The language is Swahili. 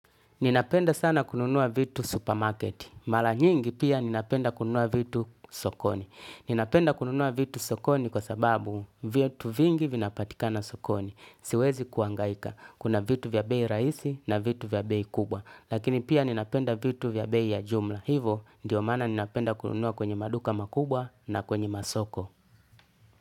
Ninapenda sana kununua vitu supermarket. Mara nyingi pia ninapenda kununua vitu sokoni ninapenda kununua vitu sokoni kwa sababu vitu vingi vinapatika na sokoni. Siwezi kuhangaika. Kuna vitu vya bei rahisi na vitu vya bei kubwa. Lakini pia ninapenda vitu vya bei ya jumla. Hivo ndio maana ninapenda kununua kwenye maduka makubwa na kwenye masoko.